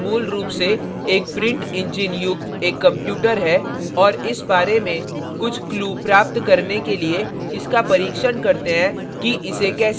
यह printer मूल रूप से एक print engine युक्त एक computer है और इस बारे में कुछ clues प्राप्त करने के लिए इसका परीक्षण करते हैं कि इसे कैसे handle करते हैं